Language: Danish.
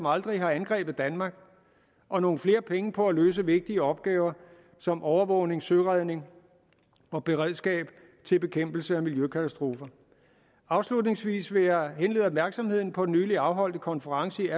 aldrig har angrebet danmark og nogle flere penge på at løse vigtige opgaver som overvågning søredning og beredskab til bekæmpelse af miljøkatastrofer afslutningsvis vil jeg henlede opmærksomheden på en nylig afholdt konference i